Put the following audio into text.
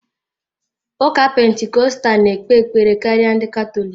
Ụka Pentikọstal na-ekpe ekpere karịa ndị Katọlik.